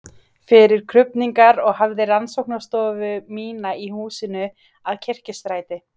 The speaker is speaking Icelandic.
fyrir krufningar og hafði rannsóknarstofu mína í húsinu að Kirkjustræti